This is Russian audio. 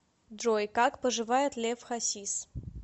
джой как поживает лев хасис